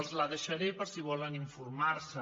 els la deixaré per si volen informar se’n